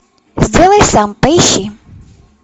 сделай сам поищи